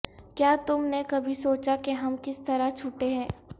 کیا تم نے کبھی سوچا کہ ہم کس طرح چھوٹے ہیں